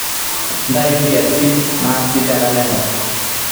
ntayu nkiasin naasi te nkalenda